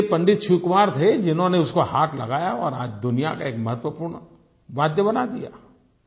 लेकिन एक पंडित शिव कुमार थे जिन्होंने उसको हाथ लगाया और आज दुनिया का एक महत्वपूर्ण वाद्य बना दिया